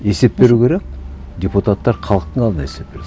есеп беру керек депутаттар халықтың алдында есеп береді